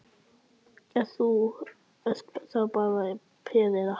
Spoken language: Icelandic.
Ert þú, ert þú bara peð, eða?